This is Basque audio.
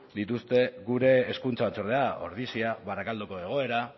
dituzte gure hezkuntza batzordera ordizia barakaldoko egoera